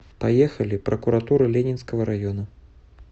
поехали прокуратура ленинского района